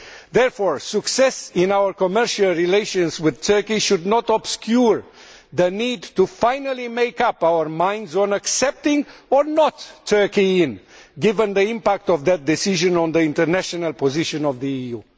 Therefore, success in our commercial relations with Turkey should not obscure the need to finally make up our minds on whether or not to accept Turkey into the EU, given the impact of that decision on the international position of the EU.